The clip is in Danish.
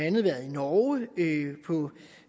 andet været i norge på